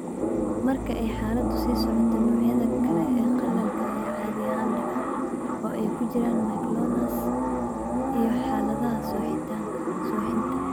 Marka ay xaaladdu sii socoto, noocyada kale ee qallalka ayaa caadi ahaan dhaca, oo ay ku jiraan myoclonus iyo xaaladda suuxdinta.